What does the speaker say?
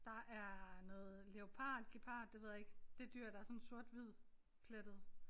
Der er noget leopard gepard det ved jeg ikke. Det dyr der er sådan sort hvid plettet